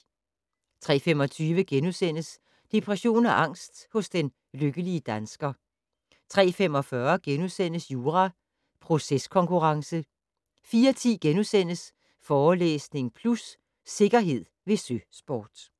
03:25: Depression og angst hos den lykkelige dansker * 03:45: Jura - proceskonkurrence * 04:10: Forelæsning Plus - Sikkerhed ved søsport *